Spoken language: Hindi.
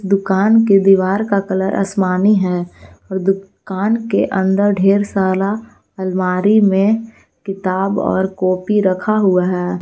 दुकान के दीवार का कलर आसमानी है और दुकान के अंदर ढेर सारा अलमारी में किताब और कॉपी रखा हुआ है।